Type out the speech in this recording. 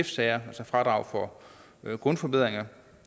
sager altså fradrag for grundforbedringer